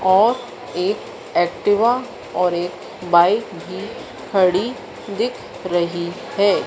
और एक एक्टिवा और एक बाईक भी खड़ी दिख रही है।